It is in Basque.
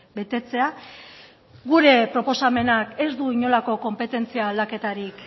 betetzea gure proposamenak ez du inolako konpetentzia aldaketarik